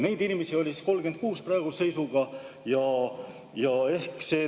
Neid inimesi oli praeguse seisuga 36.